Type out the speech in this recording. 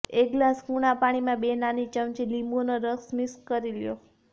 એક ગ્લાસ કુણા પાણીમાં બે નાની ચમચી લીંબૂનો રસ મિક્સ કરી લો